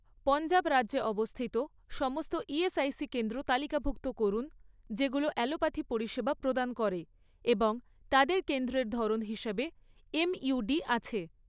পঞ্জাব রাজ্যে অবস্থিত সমস্ত ইএসআইসি কেন্দ্র তালিকাভুক্ত করুন যেগুলো অ্যালোপ্যাথি পরিষেবা প্রদান করে এবং তাদের কেন্দ্রের ধরন হিসাবে এমইউডি আছে